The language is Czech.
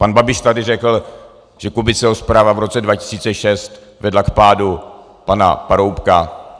Pan Babiš tady řekl, že Kubiceho zpráva v roce 2006 vedla k pádu pana Paroubka.